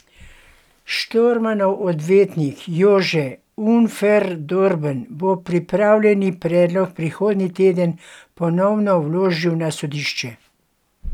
Štormanov odvetnik Jože Unferdorben bo popravljeni predlog prihodnji teden ponovno vložil na sodišče.